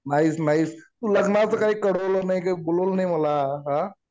Nice nice. लग्नाचं काही कळवलं नाही काही बोलवलं नाही मला. आ?